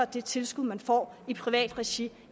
det tilskud man får i privat regi